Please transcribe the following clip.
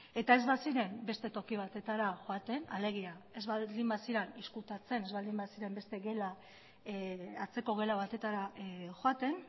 eta ez baziren beste toki batera joaten alegia ez baldin baziren ezkutatzen ez baldin baziren beste atzeko gela batetara joaten